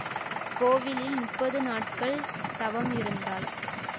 அக்கோவிலில் முப்பது நாட்கள் தவம் இருந்தாள்